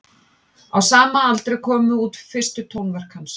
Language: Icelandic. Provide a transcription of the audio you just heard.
Á sama aldri komu út fyrstu tónverk hans.